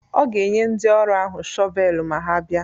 Ọ ga-enye ndị ọrụ ahụ shọvel ma ha bịa.